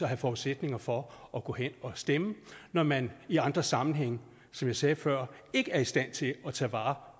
have forudsætningerne for at gå hen at stemme når man i andre sammenhænge som jeg sagde før ikke er i stand til at tage vare